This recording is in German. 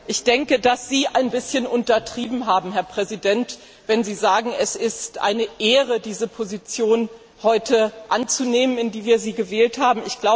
Ich denke, dass Sie ein bisschen untertrieben haben, Herr Präsident, wenn Sie sagen, es ist eine Ehre für Sie, diese Position anzunehmen, in die wir Sie heute gewählt haben.